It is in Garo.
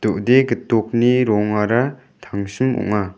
do·de gitokni rongara tangsim ong·a.